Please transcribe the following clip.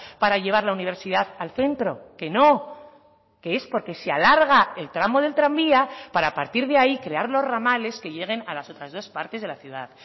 para llevar la universidad al centro que no que es porque se alarga el tramo del tranvía para a partir de ahí crear los ramales que lleguen a las otras dos partes de la ciudad